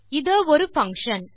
இதொரு function